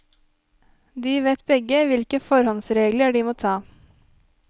De vet begge hvilke forholdsregler de må ta.